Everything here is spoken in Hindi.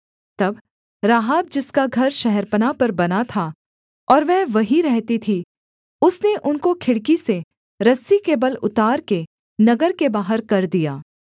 तब राहाब जिसका घर शहरपनाह पर बना था और वह वहीं रहती थी उसने उनको खिड़की से रस्सी के बल उतार के नगर के बाहर कर दिया